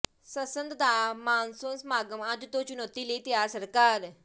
ਸੰਸਦ ਦਾ ਮਾਨਸੂਨ ਸਮਾਗਮ ਅੱਜ ਤੋਂ ਚੁਣੌਤੀ ਲਈ ਤਿਆਰ ਸਰਕਾਰ